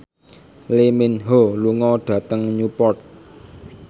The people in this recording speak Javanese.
Lee Min Ho lunga dhateng Newport